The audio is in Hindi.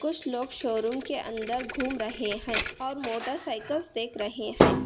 कुछ लोग शोरूम के अंदर घूम रहे हैं और मोटरसाइकिल्स देख रहे हैं।